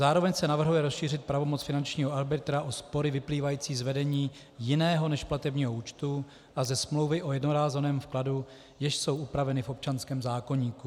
Zároveň se navrhuje rozšířit pravomoc finančního arbitra o spory vyplývající z vedení jiného než platebního účtu a ze smlouvy o jednorázovém vkladu, jež jsou upraveny v občanském zákoníku.